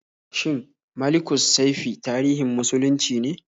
Shin Malikussaifi tarihin muslunci ne?